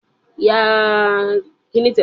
Bẹ́ẹ̀ni, mò ún lọ sí ibi igbéyàwó ẹ̀gbọ́n mi